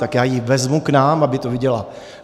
Tak já ji vezmu k nám, aby to viděla.